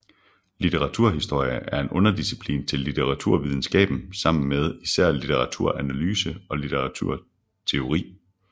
Litteraturhistorie er en underdisciplin til litteraturvidenskaben sammen med især litteraturanalyse og litteraturteori